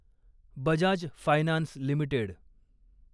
Bajaj finance limited